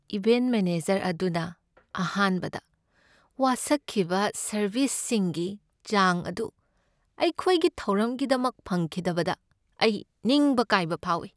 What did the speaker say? Event manager ꯑꯗꯨꯅ ꯑꯍꯥꯟꯕꯗ ꯋꯥꯁꯛꯈꯤꯕ ꯁꯔꯕꯤꯁꯁꯤꯡꯒꯤ ꯆꯥꯡ ꯑꯗꯨ ꯑꯩꯈꯣꯏꯒꯤ ꯊꯧꯔꯝꯒꯤꯗꯃꯛ ꯐꯪꯈꯤꯗꯕꯗ ꯑꯩ ꯅꯤꯡꯕ ꯀꯥꯏꯕ ꯐꯥꯎꯏ꯫